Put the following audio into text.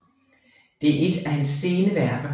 Det er et af hans sene værker